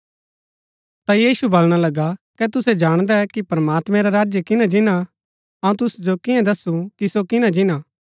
ता यीशु बलणा लगा कै तुसै जाणदै कि प्रमात्मैं रा राज्य किना जिन्‍ना हा अऊँ तुसु जो कियां दस्सु कि सो किना जिन्‍ना हा